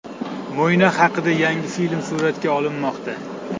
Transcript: Mo‘ynoq haqida yangi film suratga olinmoqda.